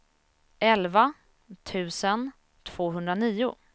elva tusen tvåhundranio